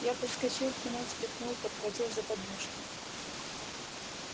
я подскочил к нему встряхнул подхватил за подмышки